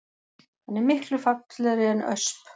Hann er miklu fallegri en ösp